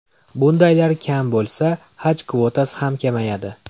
Bundaylar kam bo‘lsa, Haj kvotasi ham kamayadi.